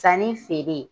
Sanni feere